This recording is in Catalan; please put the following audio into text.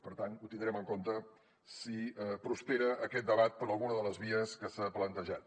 per tant ho tindrem en compte si prospera aquest debat per alguna de les vies que s’han plantejat